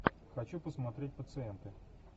хочу посмотреть пациенты